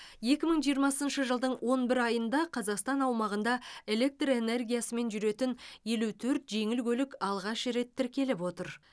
екі мың жиырмасыншы жылдың он бір айында қазақстан аумағында электр энергиясымен жүретін елу төрт жеңіл көлік алғаш рет тіркеліп отыр